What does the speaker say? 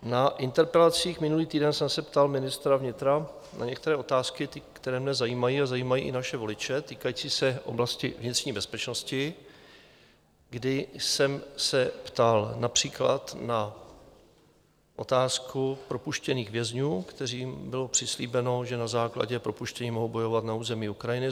Na interpelacích minulý týden jsem se ptal ministra vnitra na některé otázky, které mě zajímají a zajímají i naše voliče, týkající se oblasti vnitřní bezpečnosti, kdy jsem se ptal například na otázku propuštěných vězňů, kterým bylo přislíbeno, že na základě propuštění mohou bojovat na území Ukrajiny.